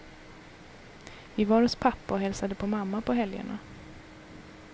Vi var hos pappa och hälsade på mamma på helgerna.